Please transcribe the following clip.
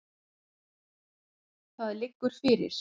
Það liggur fyrir.